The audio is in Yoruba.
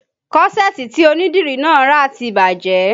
Kọ́ṣẹ̀ẹ̀tì tí onídìrí náà rà ti bàjẹ́